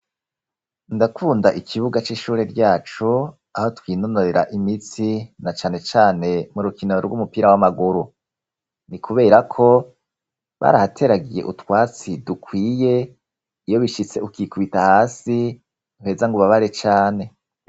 Ndakunda ikibuga c'ishure ryacu aho twinonorera imitsi na canecane mu rukinoro rw'umupira w'amaguru ni, kubera ko barahateragiye utwatsi dukwiye iyo bishitse ukikubita hasi mweza ngo ubabare cane.